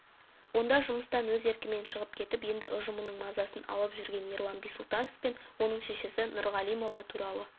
онда жұмыстан өз еркімен шығып кетіп енді ұжымының мазасын алып жүрген ерлан бисұлтанов пен оның шешесі нұрғалимова туралы